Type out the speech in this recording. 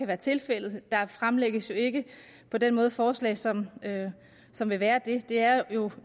være tilfældet der fremsættes jo ikke på den måde forslag som som vil være det det er jo